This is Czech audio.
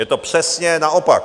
Je to přesně naopak.